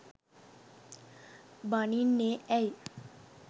බනින්නේ ඇයි?